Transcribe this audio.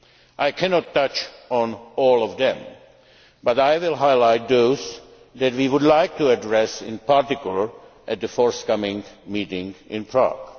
areas. I cannot touch on all of them but I would like to highlight those that we would like to address in particular at the forthcoming meeting